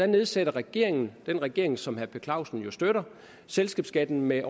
nedsætter regeringen den regering som herre per clausen jo støtter selskabsskatten med